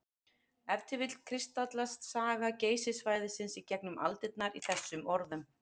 Ef til vill kristallast saga Geysissvæðisins í gegnum aldirnar í þessum orðum.